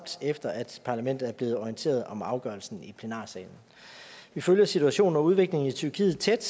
efter at parlamentet er blevet orienteret om afgørelsen i plenarsalen vi følger situationen og udviklingen i tyrkiet tæt